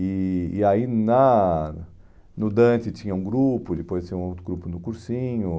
E e aí na no Dante tinha um grupo, depois tinha um outro grupo no Cursinho.